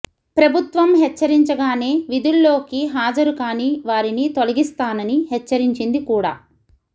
ప్రభుత్వం హెచ్చరించగానే విధుల్లోకి హాజరు కాని వారిని తొలగిస్తానని హెచ్చరించింది కూడా